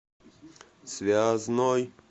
связной